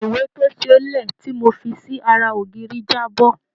Ìwé tó ṣe é lẹ̀ tí mo fi sí ara ògiri jábọ́.